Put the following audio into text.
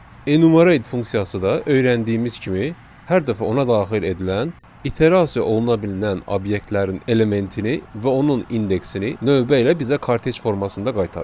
Enumerate funksiyası da öyrəndiyimiz kimi hər dəfə ona daxil edilən iterasiya oluna bilən obyektlərin elementini və onun indeksini növbə ilə bizə kartec formasında qaytarır.